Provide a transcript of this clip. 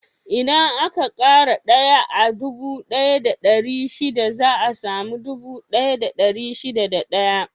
Idan aka ƙara daya a dubu ɗaya da ɗari shida za a samu dubu ɗaya da dari shida da ɗaya.